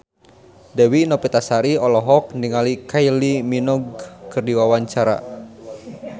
Dewi Novitasari olohok ningali Kylie Minogue keur diwawancara